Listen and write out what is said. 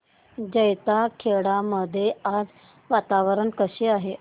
जैताखेडा मध्ये आज वातावरण कसे आहे